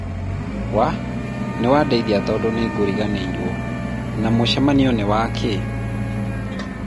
wah! Nĩwandeithia tondũ nĩngũriganĩirwo. Na mũcemanio nĩwa kĩĩ?